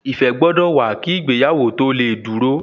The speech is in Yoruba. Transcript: Ìfẹ́ gbọ́dọ̀ wà kí ìgbéyàwó tó lè dúró